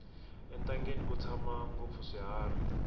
entangeni ku tshama ngopfu swiharhi